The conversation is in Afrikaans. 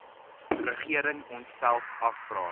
regering onsself afvra